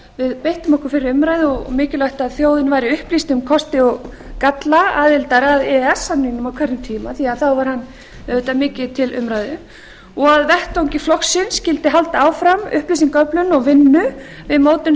við beittum okkur fyrir umræðu og mikilvægt að þjóðin væri upplýst um kosti og galla aðildar að e e s samningnum á sínum tíma því að þá var hann auðvitað mikið til umræðu og á vettvangi flokksins skyldi halda áfram upplýsingaöflun og vinnu við mótun